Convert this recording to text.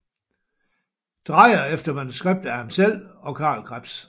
Dreyer efter manuskript af ham selv og Carl Krebs